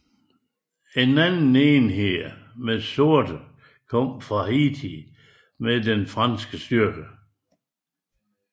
En anden enhed med sorte kom fra Haiti med de franske styrker